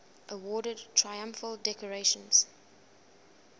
awarded triumphal decorations